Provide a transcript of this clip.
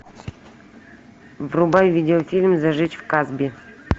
врубай видеофильм зажечь в касбе